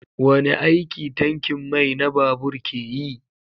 Wane aiki tankin mai na babur ke yi?